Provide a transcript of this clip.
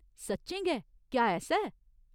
सच्चें गै, क्या ऐसा ऐ ?